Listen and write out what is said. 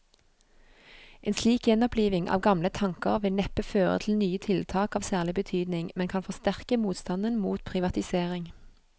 En slik gjenoppliving av gamle tanker vil neppe føre til nye tiltak av særlig betydning, men kan forsterke motstanden mot privatisering.